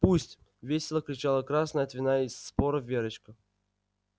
пусть весело кричала красная от вина и споров верочка